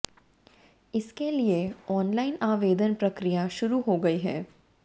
इसके लिए ऑनलाइन आवेदन प्रक्रिया शुरू हो गई है